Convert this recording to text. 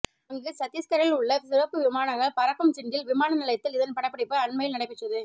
அங்கு சத்தீஸ்கரில் உள்ள சிறப்பு விமானங்கள் பறக்கும் ஜிண்டல் விமான நிலையத்தில் இதன் படப்பிடிப்பு அண்மையில் நடைபெற்றது